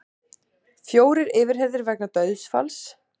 Fjórir yfirheyrðir vegna dauðsfalls